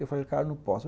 Eu falei, cara, não posso.